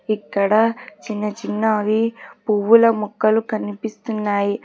ఇక్కడ చిన్న చిన్నవి పువ్వుల మొక్కలు కనిపిస్తున్నాయి.